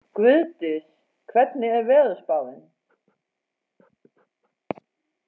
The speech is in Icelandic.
Guðdís, hvernig er veðurspáin?